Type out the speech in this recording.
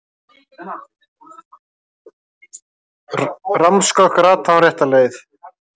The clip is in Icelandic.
Rammskökk rataði hún rétta leið.